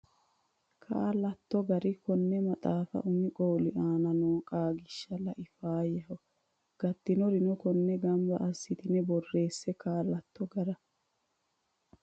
Kaa latto gara konni maxaafira umi qooli aana noo qaagiishsha lai Faayyaho gatinoreno konni gamba assitine borreesse Kaa latto gara.